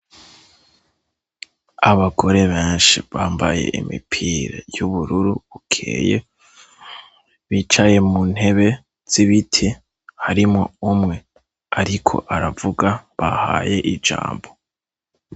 Abagore benshi bambaye imipira y'ubururu bukeye bicaye mu ntebe z'ibite harimwo umwe, ariko aravuga bahaye ijambo.